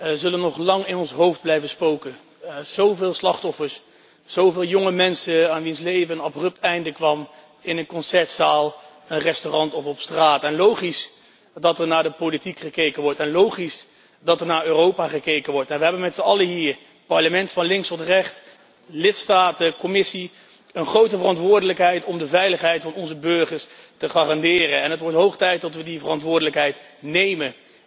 De afgrijselijke beelden van de laffe aanslag in Parijs zullen nog lang in ons hoofd blijven spoken. Zoveel slachtoffers, zoveel jonge mensen aan wier leven een abrupt einde kwam in een concertzaal, een restaurant of op straat. Logisch dat er naar de politiek gekeken wordt. Logisch dat er naar Europa gekeken wordt. We hebben met z'n allen hier, Parlement van links tot rechts, lidstaten, Commissie, een grote verantwoordelijkheid om de veiligheid van onze burgers te garanderen en het wordt hoog tijd dat we die verantwoordelijkheid nemen.